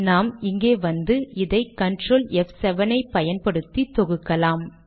நாம் இங்கே வந்து இதை கன்ட்ரோல் ப்7 ஐ பயன் படுத்தி தொகுக்கலாம்